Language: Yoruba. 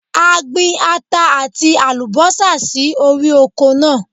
A gbin ata àti àlùbọ́sà sí orí oko náà.